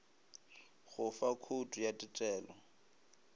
go fa khoutu ya tetelo